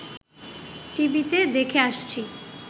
টিভিতে দেখে আসছি